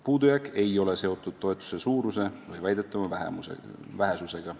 " Puudujääk ei ole seotud toetuse suuruse või väidetava vähesusega.